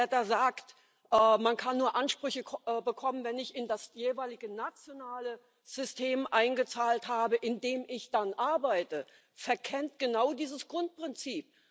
Wer da sagt Man kann nur Ansprüche bekommen, wenn ich in das jeweilige nationale System eingezahlt habe, in dem ich arbeite, verkennt genau dieses Grundprinzip.